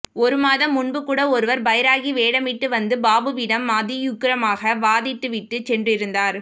ஒருமாதம் முன்புகூட ஒருவர் பைராகி வேடமிட்டு வந்து பாபுவிடம் அதியுக்கிரமாக வாதிட்டுவிட்டுச் சென்றிருந்தார்